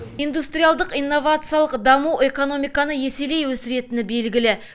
индустриалдық инновациялық даму экономиканы еселей өсіретіні белгілі